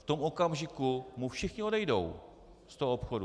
V tom okamžiku mu všichni odejdou z toho obchodu.